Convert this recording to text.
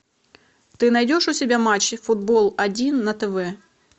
ты найдешь у себя матчи футбол один на тв